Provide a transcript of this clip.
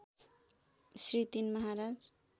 Shri ३ Maharaj